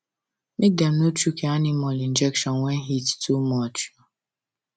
make dem no chook your animal injection when heat too much